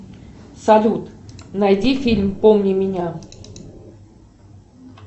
салют найди фильм помни меня